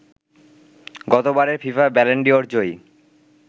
গতবারের FIFA Ballon d'Or জয়ী